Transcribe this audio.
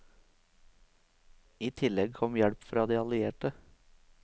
I tilleg kom hjelp fra de allierte.